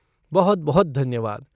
बहुत बहुत धन्यवाद।